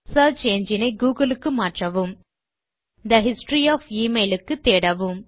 search engine ஐ Google க்கு மாற்றவும் தே ஹிஸ்டரி ஒஃப் எமெயில் க்கு தேடவும்